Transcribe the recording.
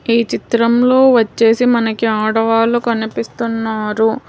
ఈ చిత్రంలో వచ్చేసి మనకి ఆడవాళ్లు కనిపిస్తున్నారు.